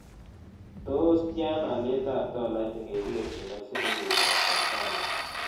Tos' tyana alyetap tolait ingekerchin ak silingiitap tanzania